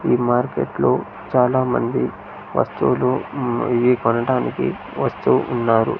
ఈ మార్కెట్లో చాలామంది వస్తువులు ఉమ్ ఇవి కొనడానికి వస్తూ ఉన్నారు.